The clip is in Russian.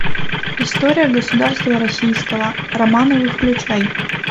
история государства российского романовы включай